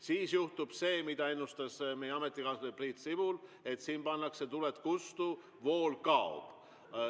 Siis juhtub see, mida ennustas meie ametikaaslane Priit Sibul, et siin pannakse tuled kustu, vool kaob.